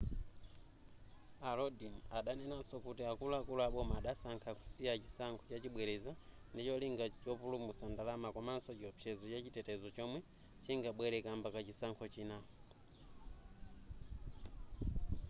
a lodin adanenanso kuti akuluakulu a boma adasankha kusiya chisankho chachibwereza ndicholinga chopulumutsa ndalama komaso chiopsezo chachitetezo chomwe chingabwere kamba ka chisankho china